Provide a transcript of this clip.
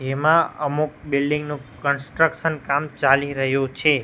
એમાં અમુક બિલ્ડિંગ નુ કન્સ્ટ્રક્શન કામ ચાલી રહ્યુ છે.